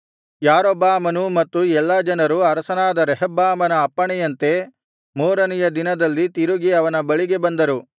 ಯಾರೊಬ್ಬಾಮನೂ ಮತ್ತು ಎಲ್ಲಾ ಜನರೂ ಅರಸನಾದ ರೆಹಬ್ಬಾಮನ ಅಪ್ಪಣೆಯಂತೆ ಮೂರನೆಯ ದಿನದಲ್ಲಿ ತಿರುಗಿ ಅವನ ಬಳಿಗೆ ಬಂದರು